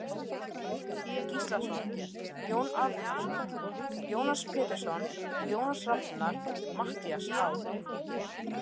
Gíslason, Jón Árnason, Jónas Pétursson, Jónas Rafnar, Matthías Á.